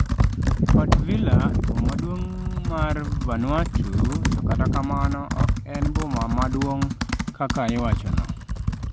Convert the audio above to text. Port Vila e boma maduong' mar Vanuatu, to kata kamano ok en boma maduong' kaka iwachono.